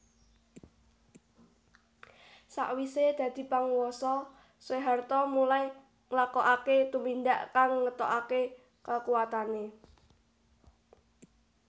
Sawisé dadi panguwasa Soeharto mulai nglakokaké tumindak kang ngetokaké kekuwatané